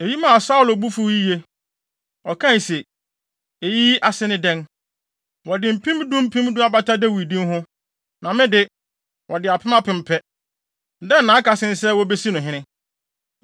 Eyi maa Saulo bo fuw yiye. Ɔkae se, “Eyi ase ne dɛn? Wɔde mpem du mpem du abata Dawid din ho, na me de, wɔde apem apem pɛ. Dɛn na aka sen sɛ wobesi no hene?”